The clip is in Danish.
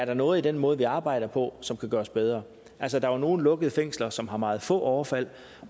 er noget i den måde vi arbejder på som kan gøres bedre altså der er nogle lukkede fængsler som har meget få overfald